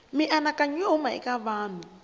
mianakanyo yo huma eka vanhu